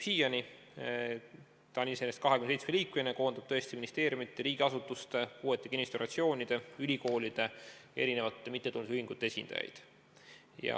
Ta on 27-liikmeline ja koondab ministeeriumide ning muude riigiasutuste, puuetega inimeste organisatsioonide, ülikoolide ja erinevate mittetulundusühingute esindajaid.